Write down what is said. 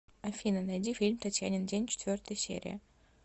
афина найди фильм татьянин день четвертая серия